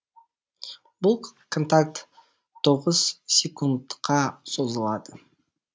бұл контакт тоғыз секундқа созылады